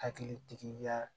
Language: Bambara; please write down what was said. Hakili tigiya